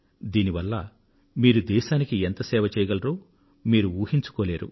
దీని వల్ల మీరు దేశానికి ఎంత సేవ చేయగలరో మీరు ఊహించుకోలేరు